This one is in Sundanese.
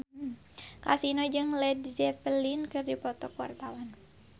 Kasino jeung Led Zeppelin keur dipoto ku wartawan